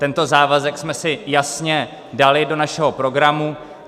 Tento závazek jsme si jasně dali do našeho programu.